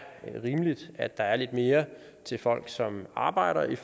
rimeligt at der er lidt mere til folk som arbejder end